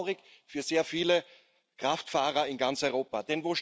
Das ist traurig für sehr viele Kraftfahrer in ganz Europa.